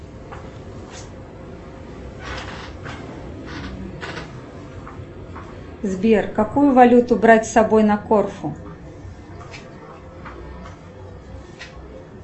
сбер какую валюту брать с собой на корфу